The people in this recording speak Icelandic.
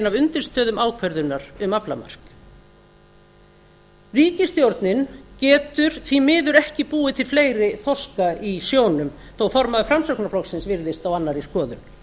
af undirstöðum ákvörðunar um aflamark ríkisstjórnin getur því miður ekki búið til fleiri þorska í sjónum þó formaður framsóknarflokksins virðist á annarri skoðun